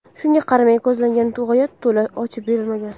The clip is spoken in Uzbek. Shunga qaramay, ko‘zlangan g‘oya to‘la ochib berilmagan.